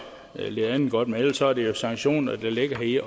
lidt andet godt men ellers er det jo sanktioner der ligger i